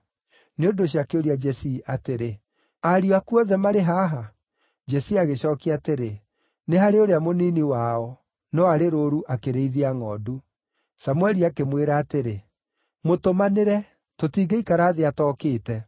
Nĩ ũndũ ũcio akĩũria Jesii atĩrĩ, “Ariũ aku othe marĩ haha?” Jesii agĩcookia atĩrĩ, “Nĩ harĩ ũrĩa mũnini wao; no arĩ rũũru akĩrĩithia ngʼondu.” Samũeli akĩmwĩra atĩrĩ, “Mũtũmanĩre; tũtingĩikara thĩ atookĩte.”